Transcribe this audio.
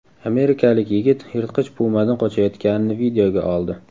Amerikalik yigit yirtqich pumadan qochayotganini videoga oldi .